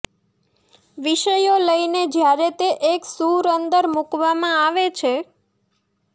વિષયો લઇને જ્યારે તે એક સૂર અંદર મૂકવામાં આવે છે